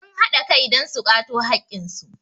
sun haɗa Kai don su kwato haƙƙinsu